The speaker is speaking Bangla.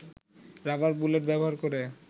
রাবার বুলেট ব্যবহার করে